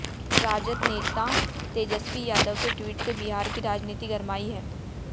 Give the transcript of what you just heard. राजद नेता तेजस्वी यादव के ट्वीट से बिहार की राजनीति गरमाई है